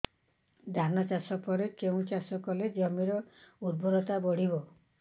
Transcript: ଧାନ ଚାଷ ପରେ କେଉଁ ଚାଷ କଲେ ଜମିର ଉର୍ବରତା ବଢିବ